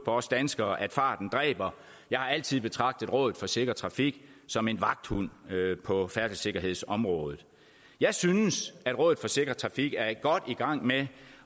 os danskere at farten dræber jeg har altid betragtet rådet for sikker trafik som en vagthund på færdselssikkerhedsområdet jeg synes at rådet for sikker trafik er godt i gang med